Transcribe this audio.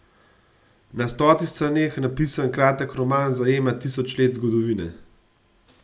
Na stotih straneh napisan kratek roman zajema tisoč let zgodovine.